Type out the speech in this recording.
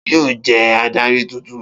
Ta ni yóò jẹ́ adarí tuntun?